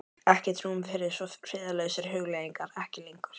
Ekkert rúm fyrir svo friðlausar hugleiðingar: ekki lengur.